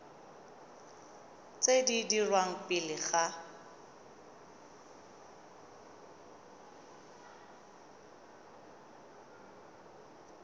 tse di dirwang pele ga